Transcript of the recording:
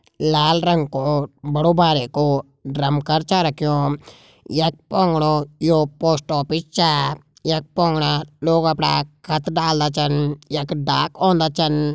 लाल रंग को बड़ु बारिकु ड्रम कर छ रख्युं यख पुंगड़ू यो पोस्ट ऑफिस छा यख पुंगड़ा लोग अपड़ा खत डालडा छन यख डाक औंदा छन।